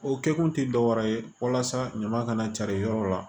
O kɛkun ti dɔwɛrɛ ye walasa ɲama kana cari yɔrɔ la